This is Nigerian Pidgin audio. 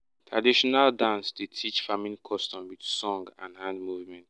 traditional dance dey teach farming custom with song and hand movement.